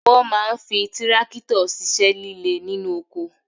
Wọ́n máa ń fi tírákítọ̀ ṣíṣẹ́ líle nínú oko